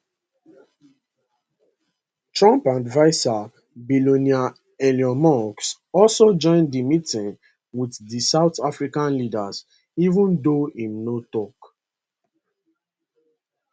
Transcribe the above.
trump adviser billionaire elon musk also join di meeting wit di south african leader even though im no tok